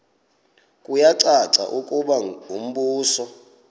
kuyacaca ukuba umbuso